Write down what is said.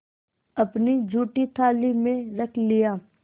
अपनी जूठी थाली में रख लिया